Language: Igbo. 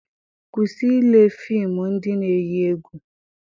Kwụsị ile fịmụ ndị na-eyi egwu!